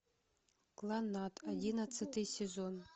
кланнад одиннадцатый сезон